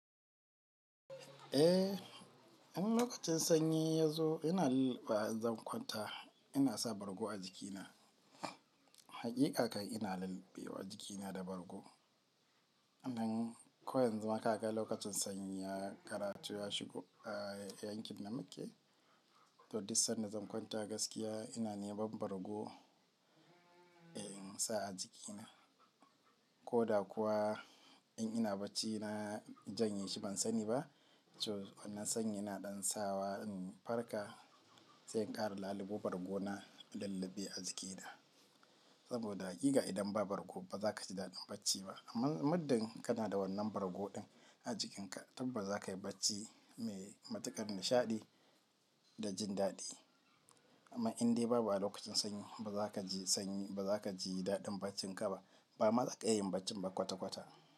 Eh, in lokacin sanyi ya zo ina lilliɓa in zan kwanta ina sa bargo a jikina. Haƙiƙa kai ina lilliɓe wa jikina da bargo. Idan ko yanzu ma ka ga lokacin sanyi ya karatu ya shigo a yankin da muke, to dik san da zan kwanta gaskiya ina neman bargo in sa a jikina. Ko da kuwa in ina bacci na janye shi ban sani ba, to wannan sanyi yana ɗan sawa in farka sai in ƙara lalubo bargo na in lilliɓe a jikina. Saboda haƙiƙa idan ba bargo ba za ka ji daɗin bacci ba. Amma muddin kana da wannan bargo din a jikinka, tabbas za ka yi bacci mai matuƙar nishaɗi da jin daɗi. Amma in dai babu a lokacin sanyi ba za ka ji sanyi ba za ka ji daɗin baccin ka ba. Ba ma za ka iya yin bacci ba kwata-kwata.